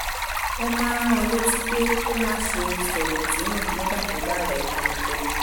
ọ máa ń rán an létí pé kó má ṣe sọ̀rètí nù nígbà tó bá rẹ̀ ẹ́ tẹnutẹnu